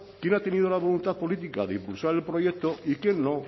quién ha tenido la voluntad política de impulsar el proyecto y quién no